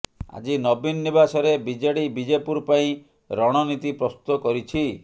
ଆଜି ନବୀନ ନିବାସରେ ବିଜେଡି ବିଜେପୁର ପାଇଁ ରଣନୀତି ପ୍ରସ୍ତୁତ କରିଛି